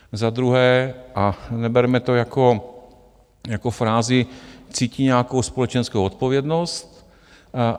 Za druhé, a neberme to jako frázi, cítí nějakou společenskou odpovědnost.